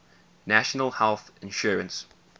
national health insurance